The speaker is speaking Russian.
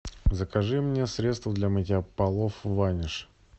закажи мне средство для мытья полов ваниш